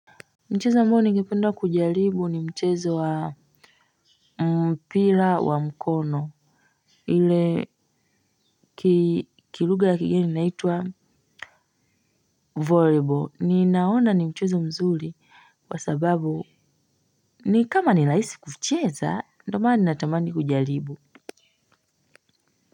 Mchezo ambao nigependa kujaribu ni mchezo wa mpira wa mkono kilugha ya kigeni inaitwa Volleyball, ninaona ni mchezo mzuri kwa sababu ni kama nirahisi kucheza ndiyo maana natamani kujaribu.